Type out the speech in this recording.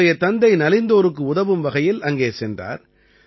இவருடைய தந்தை நலிந்தோருக்கு உதவும் வகையில் அங்கே சென்றார்